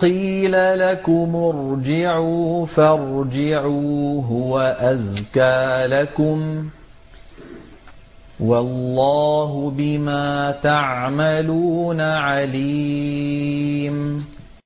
قِيلَ لَكُمُ ارْجِعُوا فَارْجِعُوا ۖ هُوَ أَزْكَىٰ لَكُمْ ۚ وَاللَّهُ بِمَا تَعْمَلُونَ عَلِيمٌ